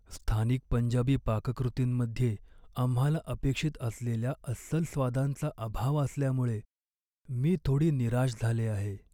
स्थानिक पंजाबी पाककृतींमध्ये आम्हाला अपेक्षित असलेल्या अस्सल स्वादांचा अभाव असल्यामुळे मी थोडी निराश झाले आहे.